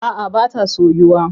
A'a ba ta soyu ba.